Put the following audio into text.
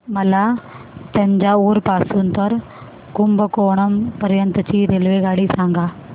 मला तंजावुर पासून तर कुंभकोणम पर्यंत ची रेल्वेगाडी सांगा